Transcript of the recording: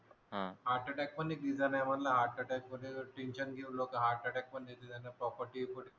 हा heart attack पण एक रिझन आहे म्हणलं हार्ट मद्ये टेन्शन घेऊन लोक हार्ट अटॅक